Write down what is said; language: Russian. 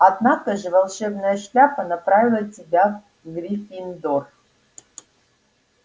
однако же волшебная шляпа направила тебя в гриффиндор